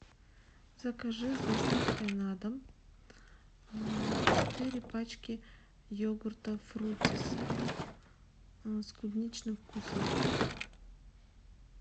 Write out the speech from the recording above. закажи с доставкой на дом четыре пачки йогурта фруттис с клубничным вкусом